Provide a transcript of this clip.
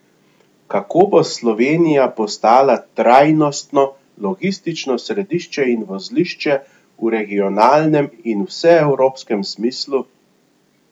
Kako bo Slovenija postala trajnostno logistično središče in vozlišče v regionalnem in vseevropskem smislu?